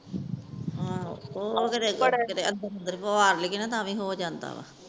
ਆਹੋ ਉਹ ਕੀਤੇ ਅੰਦਰ ਤਾ ਵੀ ਹੋ ਜਾਂਦਾ ਆ